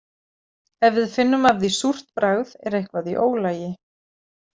Ef við finnum af því súrt bragð er eitthvað í ólagi.